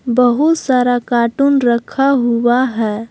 बहुत सारा कार्टून रखा हुआ है।